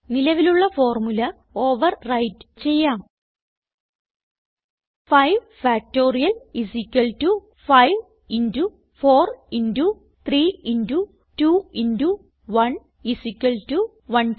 നിലവിലുള്ള formula overwrite ചെയ്യാം 5 factorial 5 into 4 into 3 into 2 into 1 120